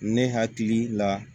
Ne hakili la